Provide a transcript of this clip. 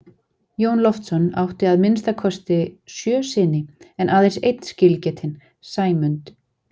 Jón Loftsson átti að minnsta kosti sjö syni en aðeins einn skilgetinn, Sæmund.